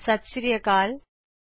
ਸਤ ਸ਼੍ਰੀ ਅਕਾਲ ਦੋਸਤੋ